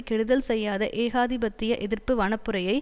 கெடுதல் செய்யாத ஏகாதிபத்திய எதிர்ப்பு வனப்புரையை